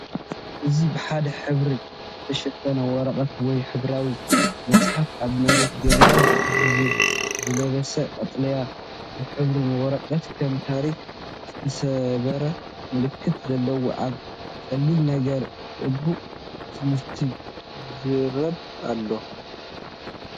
እዚ ብሓደ ሕብሪ ዝተሸፈነ ወረቐት ወይ ሕብራዊ መፅሓፍ ኣብ መሬት ይርአ። ብግዜ ዝለበሰ ቀጠልያ ዝሕብሩ ወረቐት፡ ከም ታሪኽ ዝተሰብረ ምልክት ዘለዎ። ኣብ ቀሊል ነገር ሕቡእ ትምህርቲ ይዛረብ ኣሎ።